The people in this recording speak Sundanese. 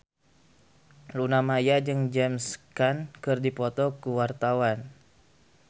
Luna Maya jeung James Caan keur dipoto ku wartawan